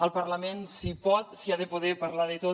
al parlament s’hi pot s’hi ha de poder parlar de tot